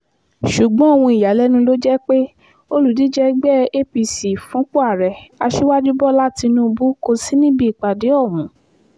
ṣùgbọ́n ohun ìyàlẹ́nu ló jẹ́ pé olùdíje ẹgbẹ́ apc fúnpọ̀ ààrẹ aṣíwájú bọ́lá tínúbù kò sí níbi ìpàdé ọ̀hún